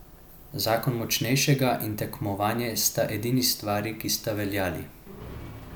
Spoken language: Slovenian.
Zakon močnejšega in tekmovanje sta edini stvari, ki sta veljali.